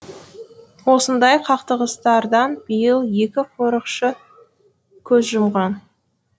осындай қақтығыстардан биыл екі қорықшы көз жұмған